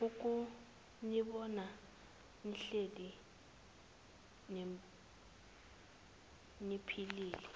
ukunibona nihlale niphilile